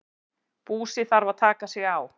Búsi þarf að taka sig á.